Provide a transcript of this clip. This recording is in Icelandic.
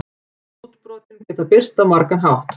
Útbrotin geta birst á margan hátt.